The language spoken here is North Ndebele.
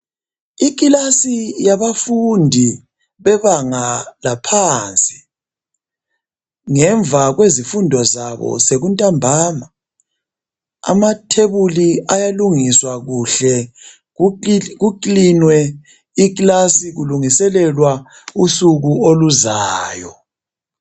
Ikilasi yabafundi bebanga laphansi ngemva kwezifundo zabo sekuntambama amathebuli ayalungiswa kuhle kukiliniwe i"class" kulungiselelwa usuku oluzayo.